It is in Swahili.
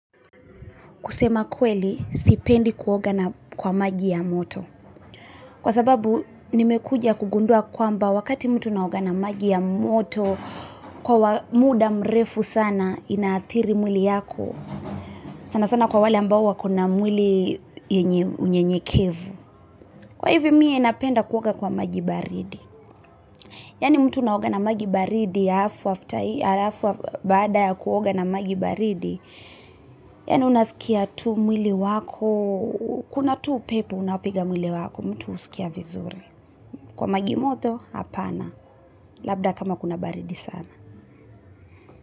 Kusema kweli, sipendi kuoga na kwa maji ya moto. Kwa sababu nimekuja kugundua kwamba wakati mtu unaoga na maji ya moto kwa muda mrefu sana inaathiri mwili yako. Sana sana kwa wale ambao wako na mwili yenye unyenyekevu. Kwa hivyo mie napenda kuoga kwa maji baridi. Yaani mtu unaoga na maji baridi, halafu baada ya kuoga na maji baridi, yaani unasikia tu mwili wako. Kuna tu upepo unaopiga mwili wako mtu husikia vizuri kwa maji moto hapana. Labda kama kuna baridi sana.